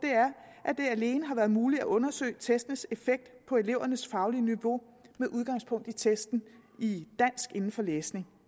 er at det alene har været muligt at undersøge testenes effekt på elevernes faglige niveau med udgangspunkt i testen i dansk inden for læsning